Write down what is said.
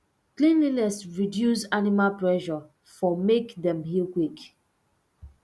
cleanliness reduce animal pressure for make dem heal quick